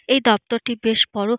এই দপ্তর টি বেশ বেশ বড়ো।